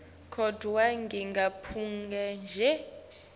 kodvwa ngingaphumula nje